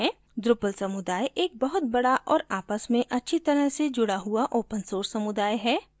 drupal समुदाय एक बहुत बड़ा और आपस में अच्छी तरह से जुड़ा हुआ open source समुदाय है